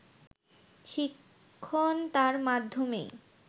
শিক্ষণ তাঁর মাধ্যমেই